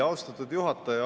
Austatud juhataja!